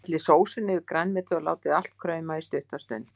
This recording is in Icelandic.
Hellið sósunni yfir grænmetið og látið allt krauma í stutta stund.